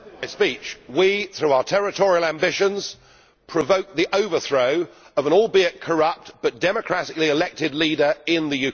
We, through our territorial ambitions, provoked the overthrow of an albeit corrupt, but democratically elected, leader in Ukraine.